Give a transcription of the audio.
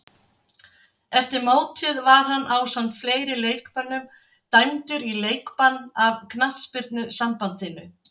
Eftir mótið var hann ásamt fleiri leikmönnum dæmdur í leikbann af knattspyrnusambandinu.